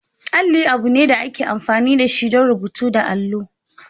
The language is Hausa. Alli abu ne da ake amfani da shi don rubutu da allo.